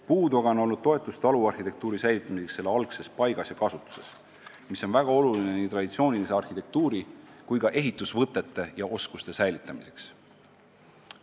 Puudu on aga olnud toetust taluarhitektuuri säilitamiseks selle algses paigas ja kasutuses, mis on väga oluline nii traditsioonilise arhitektuuri kui ka ehitusvõtete ja -oskuste säilitamiseks.